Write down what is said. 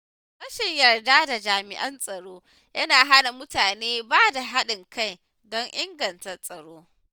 Rashin yarda da jami’an tsaro yana hana mutane bada haɗin kai don inganta tsaro.